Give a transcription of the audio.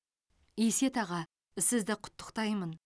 есет аға сізді құттықтаймын